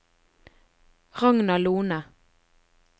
Ragna Lohne